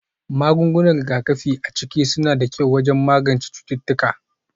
Magungunan rigakafi a ciki suna da kyau wajen magance cututtuka